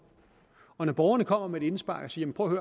borgerne kommer med et indspark og siger prøv at